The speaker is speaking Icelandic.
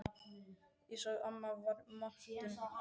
Ég sá að amma var montin af afa.